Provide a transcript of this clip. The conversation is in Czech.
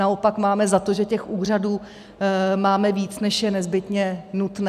Naopak máme za to, že těch úřadů máme víc, než je nezbytně nutné.